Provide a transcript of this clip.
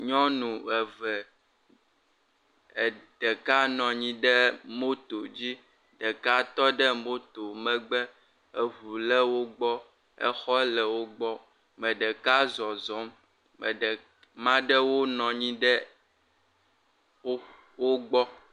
Nyɔnu eve, ɖeka nɔ anyi ɖe motodzi. Ɖeka nɔ anyi ɖe moto megbe. Eŋu le wogbɔ, exɔ le wogbɔ. Me ɖeka zɔzɔŋ, me, maa ɖewo nɔ anyi ɖe wo, wogbɔ.